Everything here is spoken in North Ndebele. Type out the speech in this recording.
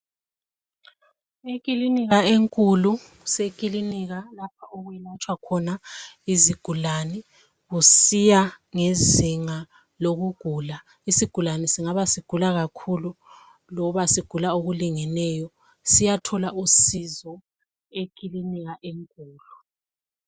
Ekilinika enkulu kusekilinika lapha okulatshwa khona izigulane kusiya ngezinga lokugula isigulane singaba sigula kakhulu loba sigula okulingeneyo siyathola usizo ekilinika enkulu.